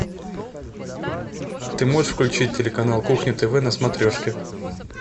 ты можешь включить телеканал кухня тв на смотрешке